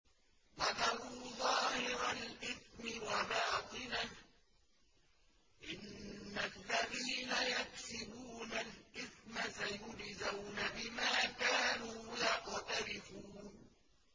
وَذَرُوا ظَاهِرَ الْإِثْمِ وَبَاطِنَهُ ۚ إِنَّ الَّذِينَ يَكْسِبُونَ الْإِثْمَ سَيُجْزَوْنَ بِمَا كَانُوا يَقْتَرِفُونَ